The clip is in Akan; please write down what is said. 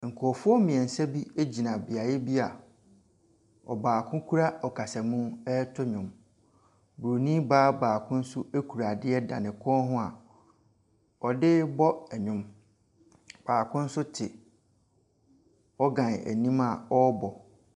Nkurɔfoɔ mmiɛnsa bi gyina beaeɛ bi a ɔbaako kura ɔkasamu areto nnwom, bronn baa baako kura adeɛ da ne kɔn mu a ɔde rebɔ nnwom. Baako nso te organ anim a ɔrebɔ.